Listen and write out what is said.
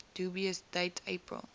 dubious date april